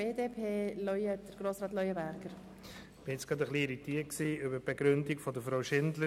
Ich bin etwas irritiert über die Begründung des Antrags von Grossrätin Schindler.